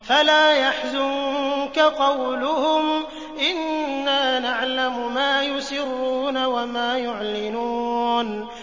فَلَا يَحْزُنكَ قَوْلُهُمْ ۘ إِنَّا نَعْلَمُ مَا يُسِرُّونَ وَمَا يُعْلِنُونَ